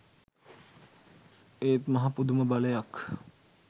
ඒත් මහ පුදුම බලයක්